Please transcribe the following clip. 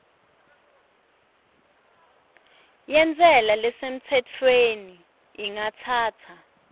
yentsela lesemtsetfweni ingatsatsa